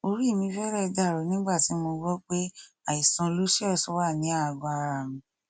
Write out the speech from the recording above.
orí mi fẹrẹ dàrú nígbà tí mo gbọ pé àìsàn lucius wà ní àgọ ara mi